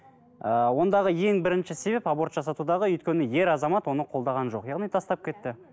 ыыы ондағы ең бірінші себеп аборт жасатудағы өйткені ер азамат оны қолдаған жоқ яғни тастап кетті